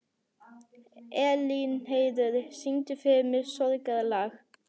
Elínheiður, syngdu fyrir mig „Sorgarlag“.